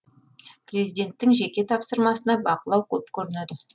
президенттің жеке тапсырмасына бақылау көп көрінеді